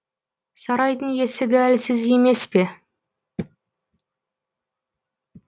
сарайдың есігі әлсіз емес пе